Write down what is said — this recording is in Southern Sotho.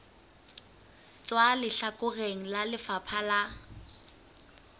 tswa lehlakoreng la lefapha la